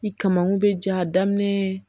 Ni kamakun bɛ ja daminɛ